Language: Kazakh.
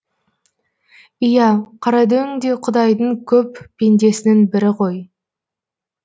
иә қарадөң де құдайдың көп пендесінің бірі ғой